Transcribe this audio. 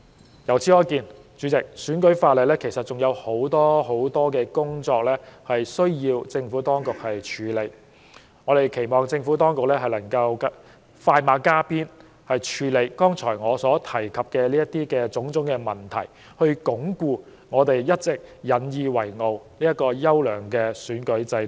代理主席，由此可見，選舉法例仍有很多問題需要政府當局處理，我們期望政府當局快馬加鞭，處理我剛才提及的種種問題，以鞏固我們一直引以自豪的優良選舉制度。